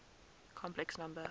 complex number